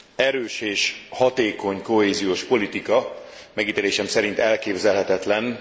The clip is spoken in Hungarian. Erős és hatékony kohéziós politika megítélésem szerint elképzelhetetlen.